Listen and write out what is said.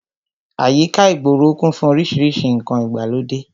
Àyíká ìgboro kún fún orísìírísìí ǹkan ìgbàlódé